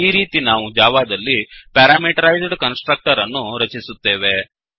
ಈ ರೀತಿ ನಾವು ಜಾವಾದಲ್ಲಿ ಪ್ಯಾರಾಮೀಟರೈಜ್ಡ್ ಕನ್ಸ್ ಟ್ರಕ್ಟರ್ ಅನ್ನು ರಚಿಸುತ್ತೇವೆ